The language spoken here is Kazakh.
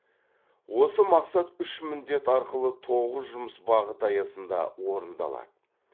осы мақсат үш міндет арқылы тоғыз жұмыс бағыты аясында орындалады